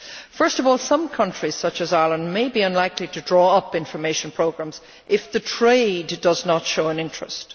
Firstly, some countries, such as Ireland, may be unlikely to draw up information programmes if the trade does not show an interest.